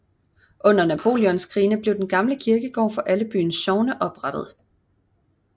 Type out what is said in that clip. Under Napoleonskrigene blev den gamle kirkegård for alle byens sogne oprettet